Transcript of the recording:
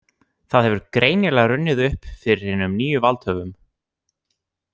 Það hefur greinilega runnið upp fyrir hinum nýju valdhöfum.